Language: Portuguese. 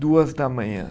Duas da manhã.